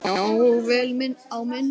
Já, og vel á minnst.